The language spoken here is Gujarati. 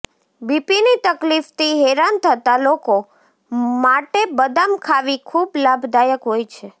બીપીની તકલીફથી હેરાન થતા લોકો માટે બદામ ખાવી ખૂબ લાભદાયક હોય છે